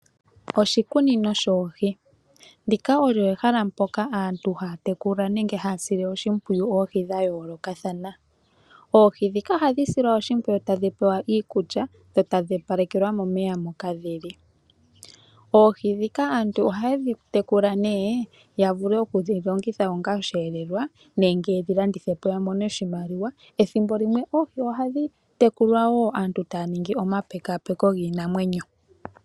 Oshikunino shoohi, ndika olyo ehala mpoka aantu haya tekula nenge haya sile oshimpwiyu oohi dha yooloka thana oohi ndhika ohadhi silwa oshimpwiyu tadhi pewa iikulya dho tadhi opalekelwa momeya moka dhili, oohi dnhika aantu ohaye dhi tekula nee yavule okudhilongitha ngaashi osheelelwa nenge yedhi landi thepo yamone oshimaliwa, ethimbo limwe oohi ohadhi tekulwa woo aantu taya ningi omapekaapeko giinamwenyo.